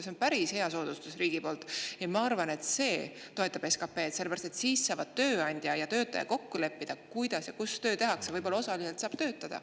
See on päris hea soodustus riigi poolt ja ma arvan, et see toetab SKP‑d, sellepärast et siis saavad tööandja ja töötaja kokku leppida, kuidas ja kus tööd tehakse, võib-olla osaliselt saab töötada.